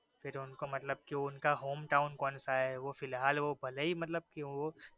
इनको मतलब इनका hometown कोनसा है वो फ़िलहाल भले ही